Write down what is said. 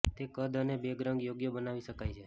તે કદ અને બેગ રંગ યોગ્ય બનાવી શકાય છે